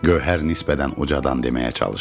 Gövhər nisbətən ucadan deməyə çalışdı.